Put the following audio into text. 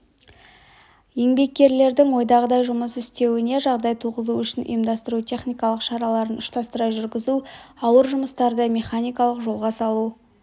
еңбеккерлердің ойдағыдай жұмыс істеуіне жағдай туғызу үшін ұйымдастыру техникалық шараларын ұштастыра жүргізу ауыр жұмыстарды механикалық жолға салу